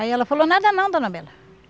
Aí ela falou, nada não, dona Bela.